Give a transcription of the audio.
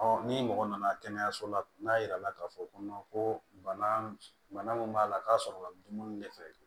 ni mɔgɔ nana kɛnɛyaso la n'a jirala k'a fɔ ko ko bana min b'a la k'a sɔrɔ dumuni de fɛ